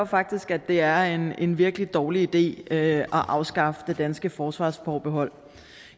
faktisk at det er en en virkelig dårlig idé at afskaffe det danske forsvarsforbehold